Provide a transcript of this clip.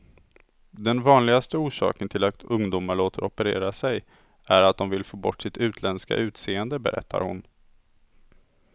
Den vanligaste orsaken till att ungdomar låter operera sig är att de vill få bort sitt utländska utseende, berättar hon.